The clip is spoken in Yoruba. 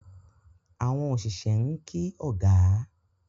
Àwọn oṣiṣẹ n kí ọgá.